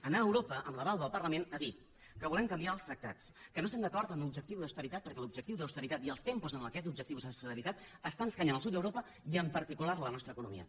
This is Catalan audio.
anar a europa amb l’aval del parlament a dir que volem canviar els tractats que no estem d’acord amb l’objectiu d’austeritat perquè l’objectiu d’austeritat i els tempos en aquests objectius d’austeritat estan escanyant el sud d’europa i en particular la nostra economia